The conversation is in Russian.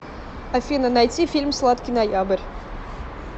афина найти фильм сладкий ноябрь